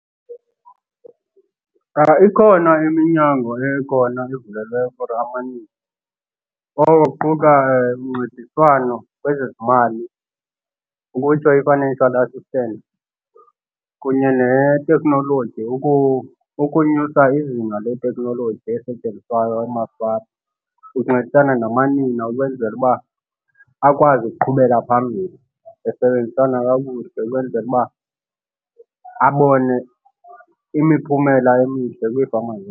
Ikhona iminyango ekhona evunyelweyo for amanina oko kuquka uncediswano kwezezimali, ukutsho i-financial assistance, kunye neteknoloji. Ukonyusa izinga leteknoloji esetyenziswayo emafama kuncedisana namanina ukwenzela uba akwazi ukuqhubela phambili besebenzisana kakuhle, ukwenzela uba abone imiphumela emihle kwiifama .